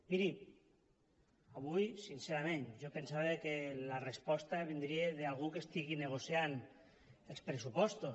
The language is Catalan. miri avui sincerament jo pensava que la resposta vindria d’algú que estigués negociant els pressupostos